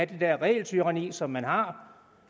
det dér regeltyranni som man har